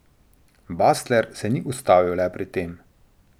Basler se ni ustavil le pri tem.